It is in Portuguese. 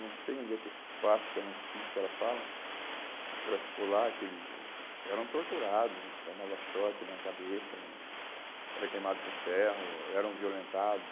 Não sei onde é que é esse espaço, que é um sítio que ela fala, que ela ficou lá, que eles eram torturados, tomava choque na cabeça, eram queimados com ferro, eram violentados.